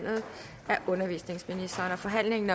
forhandlingen